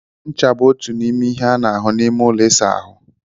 Ncha bụ otu n'ime ihe a na-ahụ n'ime ụlọ ịsa ahụ.